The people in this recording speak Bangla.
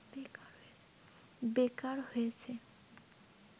বেকার হয়েছে